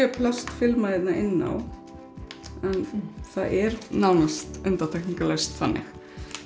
er plastfilma hérna innan á en það er nánast undantekningalaust þannig